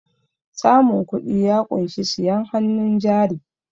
samun kudi ya kunshi siyen hannun jari